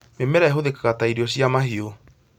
Mĩmera ĩhũthĩkaga ta irio cia mahiũ